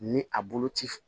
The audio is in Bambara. Ni a bolo ci